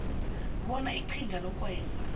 bona iqhinga lokwenza